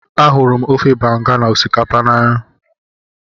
Ahụrụ m ofe banga na osikapa n'anya